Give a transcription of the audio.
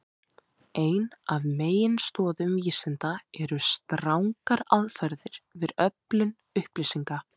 Ein af meginstoðum vísinda eru strangar aðferðir við öflun upplýsinga.